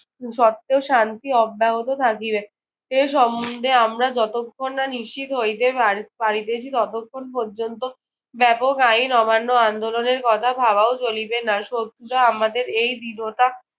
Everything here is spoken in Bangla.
সত্ত্বেও শান্তি অব্যাহত থাকিবে। এ সম্বন্ধে আমরা যতক্ষণ না নিশ্চিত হইতে পার পারিতেছি ততক্ষণ পর্যন্ত একক আইন অমান্য আন্দোলনের কথা ভাবাও চলিবে না। শত্রুরা আমাদের এই দৃঢ়তা